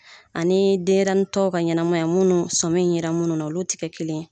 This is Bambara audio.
Ani denyɛrɛnin tɔ ka ɲɛnamaya minnu sɔmi yera minnu na olu tɛ kɛ kelen ye.